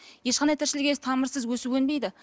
ешқандай тіршілік иесі тамырсыз өсіп өнбейді